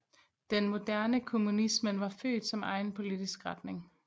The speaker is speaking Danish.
Den moderne kommunismen var født som egen politisk retning